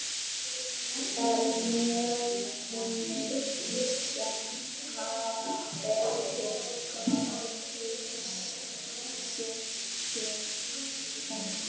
Þar er mjólkinni lýst sem afar feitri og með miklum lýsiskeim.